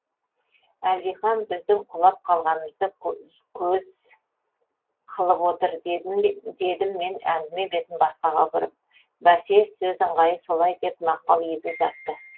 әлдихан біздің құлап қалғанымызды көз қылып отыр дедім мен әңгіме бетін басқаға бұрып бәсе сөз ыңғайы солай деп мақпал езу тартты